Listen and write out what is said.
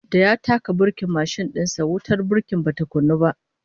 Da ya taka burkin mashin din sa, wutar burki bata kunnu ba